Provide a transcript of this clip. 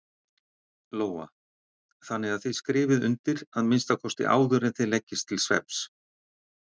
Lóa: Þannig að þið skrifið undir að minnsta kosti áður en þið leggist til svefns?